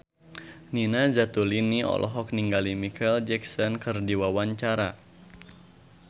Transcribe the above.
Nina Zatulini olohok ningali Micheal Jackson keur diwawancara